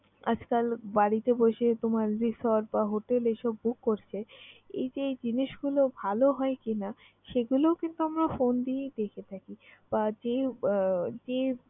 আজকাল বাড়িতে বসে তোমার resort বা hotel এইসব book করছে, এই যে এই জিনিসগুলো ভালো হয় কিনা সেগুলো কিন্তু আমরা phone দিয়েই দেখে থাকি বা যে আহ যে